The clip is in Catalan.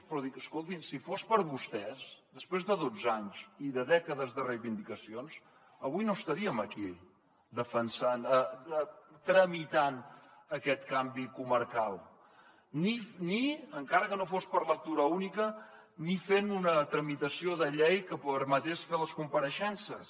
però escoltin si fos per vostès després de dotze anys i de dècades de reivindicacions avui no estaríem aquí defensant tramitant aquest canvi comarcal ni encara que no fos per lectura única ni fent una tramitació de llei que permetés fer les compareixences